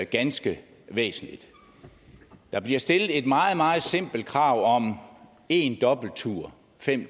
ganske væsentligt der bliver stillet et meget meget simpelt krav om én dobbelttur fem